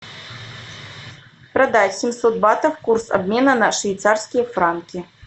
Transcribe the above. продать семьсот батов курс обмена на швейцарские франки